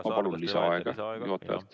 Ma palun lisaaega, juhataja!